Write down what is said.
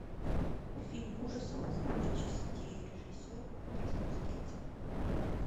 фильм ужасов из двух частей режиссер андрес мускетти